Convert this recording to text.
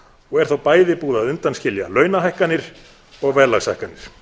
og er þá bæði búið að undanskilja launahækkanir og verðlagshækkanir